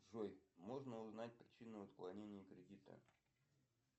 джой можно узнать причину отклонения кредита